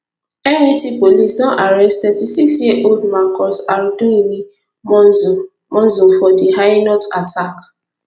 met police don arrest thirty six year old marcus arduini monzo monzo for di hainault attack